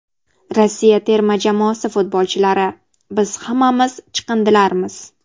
Rossiya terma jamoasi futbolchilari: Biz hammamiz chiqindilarmiz.